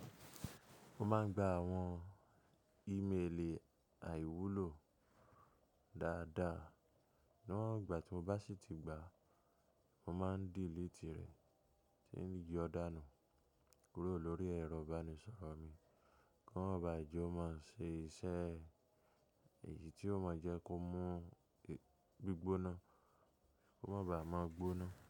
Mo máa ń gba àwọn ìmeeli àìwúlò dáadáa. Ṣugbọn igbà tí mo bá ṣì ti gbàá, mo máa ń delete rẹ̀ tí ń yọ dánù kúrò lórí ẹ̀rọ ìbánisọ̀rọ̀ mi. Kàn ma ba je o máa ṣe iṣẹ́ èyí tí ó máa jẹ́ kó mú gbígbóná, kó má ba à máa gbóná.